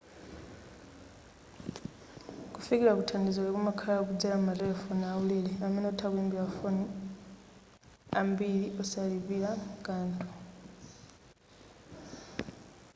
kufikila kuthandizoli kumakhala kudzela m'matelefoni aulere amene utha kuimbila mafoni ambili osalipila kanthu